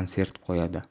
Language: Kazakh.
концерт қояды